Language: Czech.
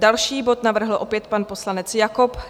Další bod navrhl opět pan poslanec Jakob.